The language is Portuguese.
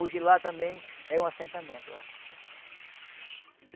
Hoje lá também é um assentamento lá.